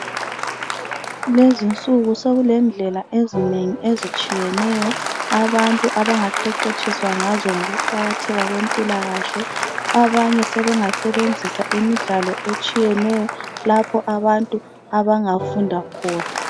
Lezinsuku sokulendlela ezinengi ezitshiyeneyo abantu abangaqeqetshiswa ngazo ngokuqakatheka kwempilakahle. Abanye sebengasebenzisa imidlalo etshiyeneyo lapho abantu abangafunda khona